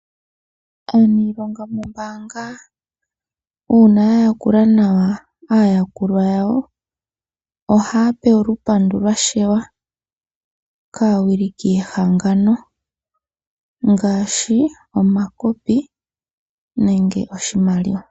Aaniilonga mombaanga uuna ya yakula nawa aayakulwa yawo, ohaya pewa olupandu lwa sheywa kaawiliki yehangano ngaashi omakopi nenge oshimaliwa.